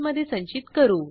ही method काय करते ते पाहू